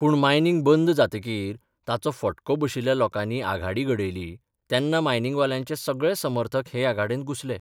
पूण मायनिंग बंद जातकीर ताचो फटको बशिल्ल्या लोकांनी आघाडी घडयली तेन्ना मायनिंगवाल्यांचे सगळे समर्थक हे आघाडेंत घुसले.